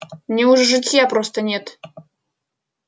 мне уже житья просто нет